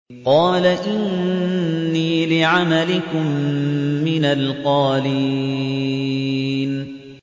قَالَ إِنِّي لِعَمَلِكُم مِّنَ الْقَالِينَ